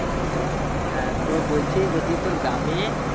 হ্যাঁ তো বলছি যদি তোর গ্রামে